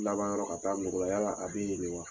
Laban yɔrɔ ka taa nugu la , yala a be yen de wa?